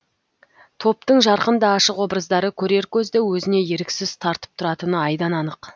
топтың жарқын да ашық образдары көрер көзді өзіне еріксіз тартып тұратыны айдан анық